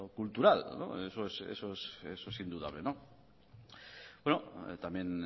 cultural eso es indudable bueno también